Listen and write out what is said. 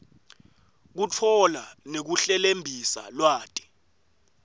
kutfola nekuhlelembisa lwati